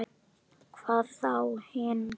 Hvað þá hinn.